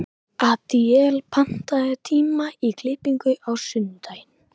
Adíel, pantaðu tíma í klippingu á sunnudaginn.